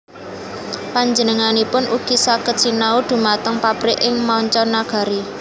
Panjenenganipun ugi saged sinau dhumateng pabrik ing manca nagari